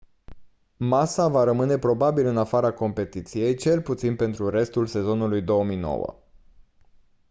massa va rămâne probabil în afara competiției cel puțin pentru restul sezonului 2009